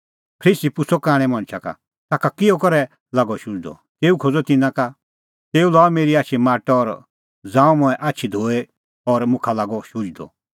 फरीसी पुछ़अ कांणै मणछा का ताखा किहअ करै लागअ शुझदअ तेऊ खोज़अ तिन्नां का तेऊ लाअ मेरी आछी माटअ और ज़ांऊं मंऐं आछी धोई और मुखा लागअ शुझदअ